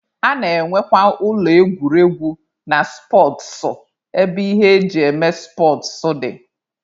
A na-enwekwa ụlọ egwuregwu na spọtsụ ebe ihe eji eme spọtsụ dị.